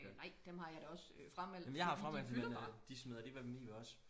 øh nej dem har jeg da også frameldt fordi de fylder bare